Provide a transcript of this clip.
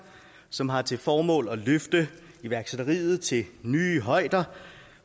som har til formål at løfte iværksætteriet til nye højder